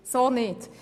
So nicht!